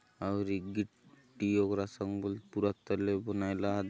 आवरी गी ट्टी अगरा संग बले पूरा तले बनाय ल आत।